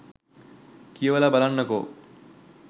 කියවලා බලන්නකෝ.